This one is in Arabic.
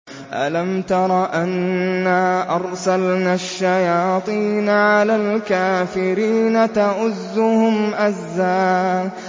أَلَمْ تَرَ أَنَّا أَرْسَلْنَا الشَّيَاطِينَ عَلَى الْكَافِرِينَ تَؤُزُّهُمْ أَزًّا